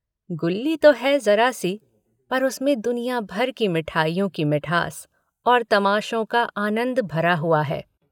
गुल्ली है तो ज़रा सी पर उसमें दुनिया भर की मिठाइयों की मिठास और तमाशों का आनन्द भरा हुआ है।